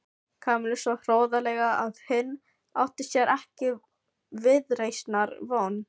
Kamillu svo hroðalega að hinn átti sér ekki viðreisnar von.